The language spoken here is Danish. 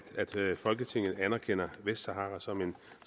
folketinget anerkender vestsahara som en